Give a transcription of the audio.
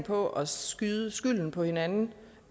på at skyde skylden på hinanden